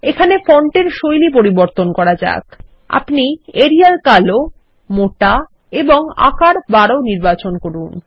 এখানে ফন্টের শৈলী পরিবর্তন করা যাক আমরা এরিয়াল কালো মোটা এবং আকার ১২ নির্বাচন করব